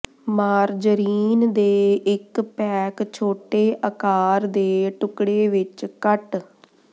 margarine ਦੇ ਇੱਕ pack ਛੋਟੇ ਆਕਾਰ ਦੇ ਟੁਕੜੇ ਵਿੱਚ ਕੱਟ